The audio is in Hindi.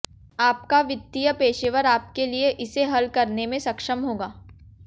आपका वित्तीय पेशेवर आपके लिए इसे हल करने में सक्षम होगा